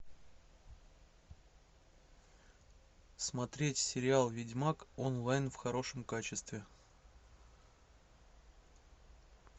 смотреть сериал ведьмак онлайн в хорошем качестве